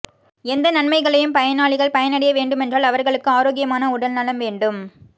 எந்த நன்மைகளையும் பயனாளிகள் பயடைய வேண்டுமென்றால் அவர்களுக்கு ஆரோக்கியமான உடல் நலம் வேண்டும்